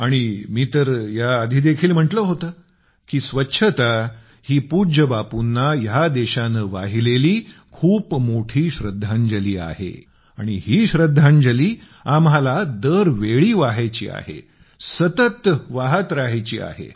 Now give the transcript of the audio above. आणि मी तर आधी देखील म्हटलं होतं की स्वच्छता ही पूज्य बापूंना ह्या देशाने वाहिलेली खूप मोठी श्रद्धांजली आहे आणि ही श्रद्धांजली आम्हाला दर वेळी द्यायची आहे सतत देत राहायची आहे